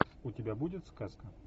у тебя будет сказка